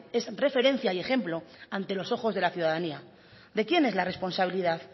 es referencia y ejemplo ante los ojos de la ciudadanía de quién es la responsabilidad